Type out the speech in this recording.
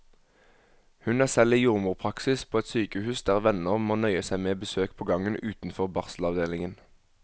Hun er selv i jordmorpraksis på et sykehus der venner må nøye seg med besøk på gangen utenfor barselavdelingen.